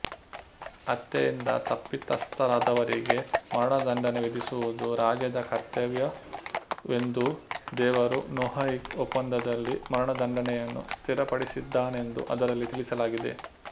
ಹತ್ಯೆಯಿಂದ ತಪ್ಪಿತಸ್ಥರಾದವರಿಗೆ ಮರಣದಂಡನೆ ವಿಧಿಸುವುದು ರಾಜ್ಯದ ಕರ್ತವ್ಯವೆಂದೂದೇವರು ನೊಯಾಹಿಕ್ ಒಪ್ಪಂದದಲ್ಲಿ ಮರಣದಂಡನೆಯನ್ನು ಸ್ಥಿರಪಡಿಸಿದ್ದಾನೆಂದು ಅದರಲ್ಲಿ ತಿಳಿಸಲಾಗಿದೆ